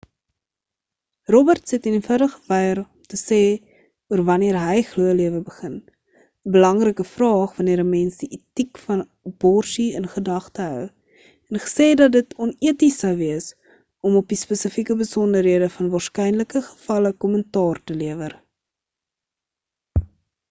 roberts het eenvoudig geweier om te sê oor wanneer hy glo lewe begin 'n belangrike vraag wanneer 'n mens die etiek van aborsie in gedagte hou en gesê dat dit oneties sou wees om op die spesifieke besonderhede van waarskynlike gevalle kommentaar te lewer